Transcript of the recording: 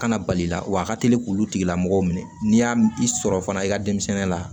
Kana bali i la wa a ka teli k'olu tigilamɔgɔ minɛ n'i y'a i sɔrɔ fana i ka denmisɛnnin la